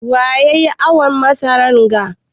Waya yayi awon masaran ga?